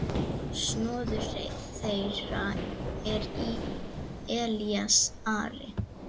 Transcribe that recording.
Sonur þeirra er Elías Ari.